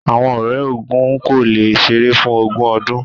Awọn ọrẹ ogún ko le ṣeré fún ogun ọdun.